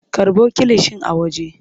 Karɓo kilishin a waje.